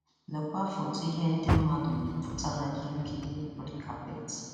Lekwa foto ihe ndị mmadụ yi pụta na ihe nkiri red carpet